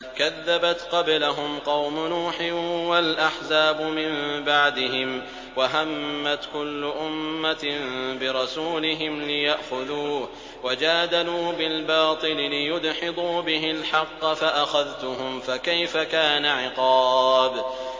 كَذَّبَتْ قَبْلَهُمْ قَوْمُ نُوحٍ وَالْأَحْزَابُ مِن بَعْدِهِمْ ۖ وَهَمَّتْ كُلُّ أُمَّةٍ بِرَسُولِهِمْ لِيَأْخُذُوهُ ۖ وَجَادَلُوا بِالْبَاطِلِ لِيُدْحِضُوا بِهِ الْحَقَّ فَأَخَذْتُهُمْ ۖ فَكَيْفَ كَانَ عِقَابِ